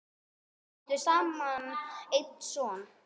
Þau áttu saman einn son.